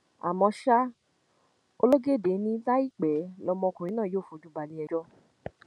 àmọ́ ṣá ológóde ni láìpẹ lọmọkùnrin náà yóò fojú balẹẹjọ